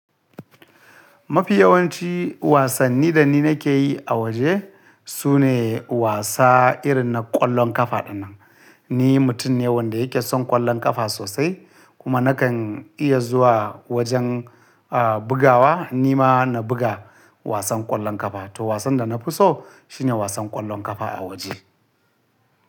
Mafi yawanci wasanni da ni nake yi a waje su ne wasa irin na ƙwallon ƙafa dinnan. Ni mutum ne wanda yake son ƙwallon ƙafa sosai kuma nakan iya zuwa wajen, ah bugawa. Ni ma na buga wasan ƙwallon ƙafa. To wasan da na fi so shi ne wasan ƙwallon ƙafa a waje.